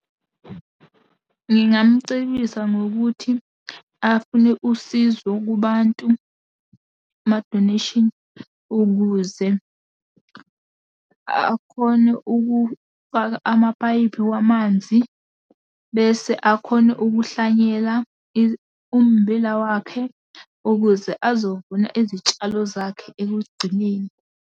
Ngingamcebisa ngokuthi, afune usizo kubantu, amadoneyshini ukuze akhone ukufaka amapayipi wamanzi, bese akhone ukuhlanyela ummbila wakhe, ukuze azovuna izitshalo zakhe ekugcineni.